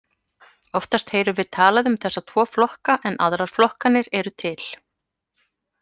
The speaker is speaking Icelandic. Oftast heyrum við talað um þessa tvo flokka en aðrar flokkanir eru til.